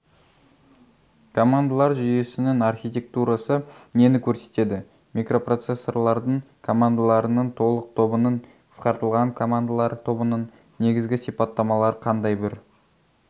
командалар жүйесінің архитектурасы нені көрсетеді микропроцессорлардың командаларының толық тобының қысқартылған командалар тобының негізгі сипаттамалары қандай бір